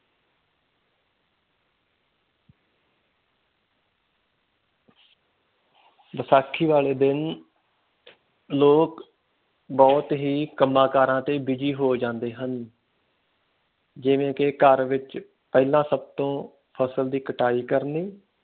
ਬੈਸਾਖੀ ਵਾਲੇ ਦਿਨ ਲੋਕ ਬਹੁਤ ਹੀ ਕਮਾ ਕਾਰਾ ਤੇ busy ਹੋ ਜਾਦੇ ਹਨ ਜਿਵੇਂ ਕੇ ਘਰ ਵਿਚ ਪਹਿਲਾ ਸੱਭ ਤੋਂ ਫਸਲ ਦੀ ਕਟਾਈ ਕਰਨੀ।